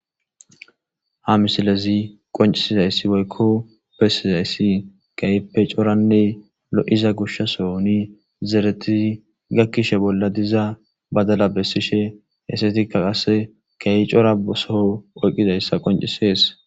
ha misilezi qoncisizayssi woykko bessizayssi keyppe coranne lo7iza gushasoni zeretizi gakkishe bolla diza badala bessishe hessetikka qasse keyi cora soo oyqqidayssa qoncisees